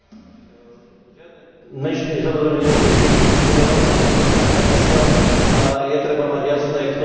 Žiadne menšiny samozrejme nemôžu byť diskriminované a takisto je treba mať jasné, kto sú menšiny.